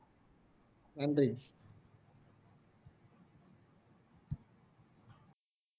நன்றி